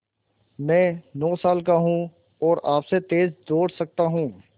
मैं नौ साल का हूँ और आपसे तेज़ दौड़ सकता हूँ